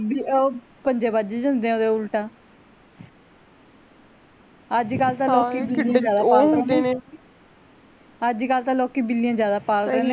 ਵੀ ਓਹ ਪੰਜੇ ਵੱਜ ਜਾਂਦੇ ਆ ਓਹਦੇ ਉਲਟਾ ਅੱਜ ਕੱਲ ਤਾਂ ਅੱਜ ਕੱਲ ਤਾਂ ਲੋਕੀ ਬਿੱਲੀਆਂ ਜ਼ਿਆਦਾ ਪਾਲਦੇ ਨੇ